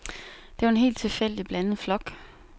Det var en helt tilfældigt blandet flok.